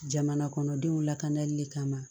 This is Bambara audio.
Jamana kɔnɔdenw lakanali le kama